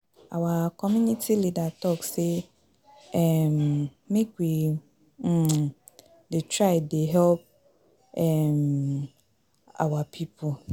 Our community leader talk say um make we um dey try dey help um our people.